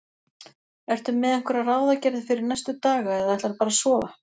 Ertu með einhverjar ráðagerðir fyrir næstu daga eða ætlarðu bara að sofa?